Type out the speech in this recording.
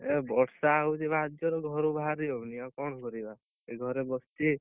ଏ ବର୍ଷା ହଉଛି ଭାରି ଜୋରେ ଘରୁ ବାହାରି ହଉନି ଆଉ କଣ କରିବା? ଏଇ ଘରେ ବସ ଛି